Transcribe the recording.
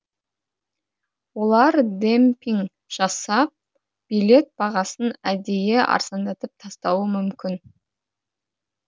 олар демпинг жасап билет бағасын әдейі арзандатып тастауы мүмкін